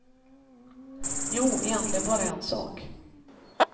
Jo, egentligen bara en sak.